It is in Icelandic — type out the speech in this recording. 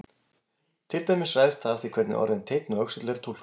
Til dæmis ræðst það af því hvernig orðin teinn og öxull eru túlkuð.